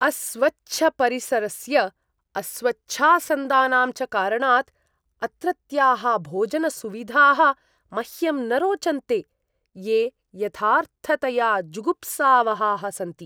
अस्वच्छपरिसरस्य, अस्वच्छासन्दानां च कारणात् अत्रत्याः भोजनसुविधाः मह्यं न रोचन्ते, ये यथार्थतया जुगुप्सावहाः सन्ति।